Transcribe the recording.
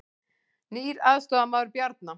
Nýr aðstoðarmaður Bjarna